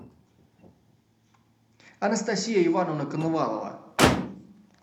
анастасия ивановна коновалова